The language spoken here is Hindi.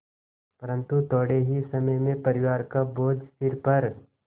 परन्तु थोडे़ ही समय में परिवार का बोझ सिर पर